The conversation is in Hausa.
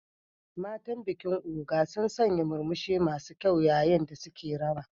Matan bikin Ogun sun sanya murmushi masu kyau yayin da suke rawa.